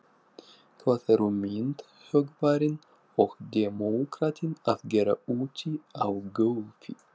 Hvað eru myndhöggvarinn og demókratinn að gera úti á gólfi.